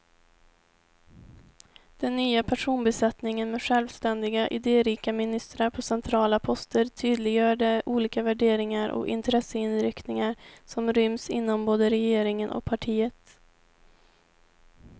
Den nya personbesättningen med självständiga, idérika ministrar på centrala poster tydliggör de olika värderingar och intresseinriktningar som ryms inom både regeringen och partiet.